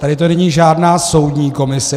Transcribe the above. Tady to není žádná soudní komise.